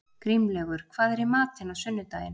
Grímlaugur, hvað er í matinn á sunnudaginn?